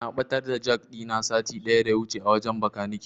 Na ɓatar da jak ɗina sati ɗaya daya wuce a wajen Bakanike.